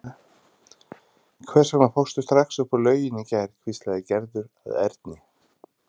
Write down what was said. Hvers vegna fórstu strax upp úr lauginni í gær? hvíslaði Gerður að Erni.